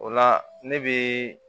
O la ne bɛ